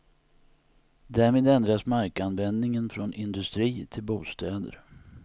Därmed ändras markanvändningen från industri till bostäder.